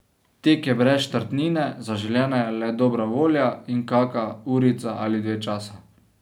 Tek je brez štartnine, zaželjena le dobra volja in kak urica ali dve časa.